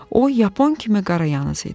O yapon kimi qarayanaız idi.